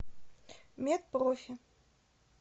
мед профи